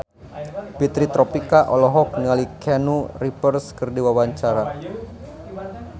Fitri Tropika olohok ningali Keanu Reeves keur diwawancara